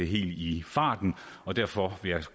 helt i farten og derfor vil jeg